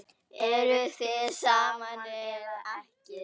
Eruð þið saman eða ekki?